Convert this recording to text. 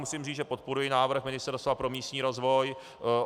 Musím říct, že podporuji návrh Ministerstva pro místní rozvoj.